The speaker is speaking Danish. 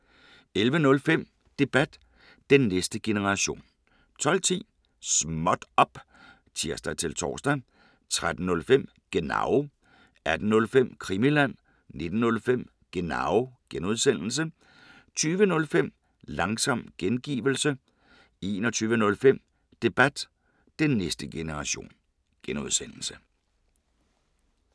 11:05: Debat: Den næste generation 12:10: Småt op! (tir-tor) 13:05: Genau 18:05: Krimiland 19:05: Genau (G) 20:05: Langsom gengivelse 21:05: Debat: Den næste generation (G)